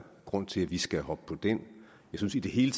grund til at vi skal hoppe på den jeg synes i det hele